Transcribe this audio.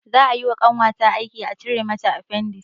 Za ayi wa ƙanwata aiki a cire mata afendis